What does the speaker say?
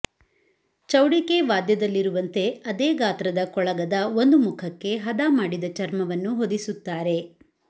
ಚೌಡಿಕೆ ವಾದ್ಯದಲ್ಲಿರುವಂತೆ ಅದೇ ಗಾತ್ರದ ಕೊಳಗದ ಒಂದು ಮುಖಕ್ಕೆ ಹದಮಾಡಿದ ಚರ್ಮವನ್ನು ಹೊದಿಸುತ್ತಾರೆ